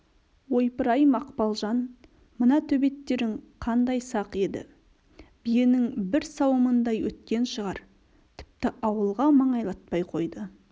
ойпырай мақпалжан мына төбеттерің қандай сақ еді биенің бір сауымындай өткен шығар тіпті ауылға маңайлатпай қойды